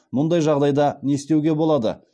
мұндай жағдайда не істеуге болады